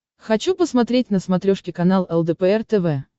хочу посмотреть на смотрешке канал лдпр тв